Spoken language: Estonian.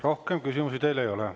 Rohkem küsimusi teile ei ole.